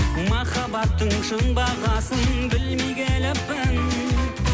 махаббаттың шын бағасын білмей келіппін